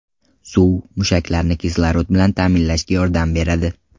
Suv mushaklarni kislorod bilan ta’minlashga yordam beradi.